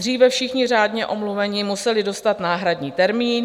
Dříve všichni řádně omluvení museli dostat náhradní termín.